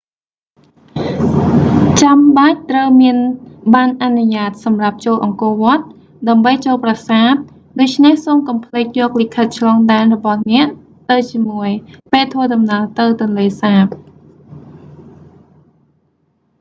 ចាំបាច់ត្រូវមានបណ្ណអនុញ្ញាតសម្រាប់ចូលអង្គរវត្ត ដើម្បីចូលប្រាសាទ ដូច្នេះសូមកុំភ្លេចយកលិខិតឆ្លងដែនរបស់អ្នកទៅជាមួយ ពេលធ្វើដំណើរទៅទន្លេសាប